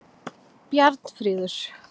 Bjarnfríður